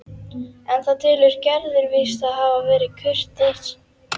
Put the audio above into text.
En það telur Gerður víst að hafi bara verið kurteisi.